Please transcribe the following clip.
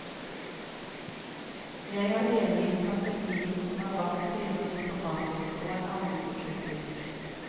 Jeg er enig i strategien som er valgt, sier han diplomatisk og en anelse kryptisk.